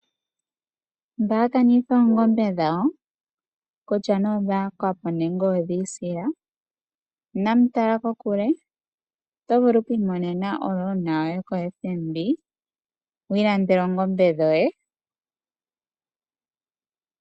Mba yakanitha oongombe dhawo kutya odhayakwapo nenge dhiisila, inamu tala kokule . Oto vulu okwiimonena omukuli gwoye koFNB, wiilandele oongombe dhoye .